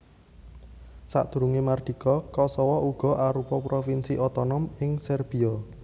Sadurungé mardika Kosowo uga arupa provinsi otonom ing Serbiya